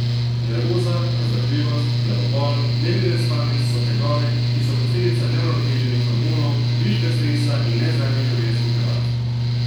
Nervoza, razdražljivost, glavobol, nemiren spanec so tegobe, ki so posledica neuravnoteženih hormonov, viška stresa in nezdravih življenjskih navad.